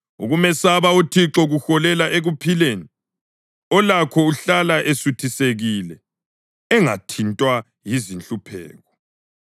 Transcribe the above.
Ukumesaba uThixo kuholela ekuphileni: olakho uhlala esuthisekile, engathintwa yizinhlupheko.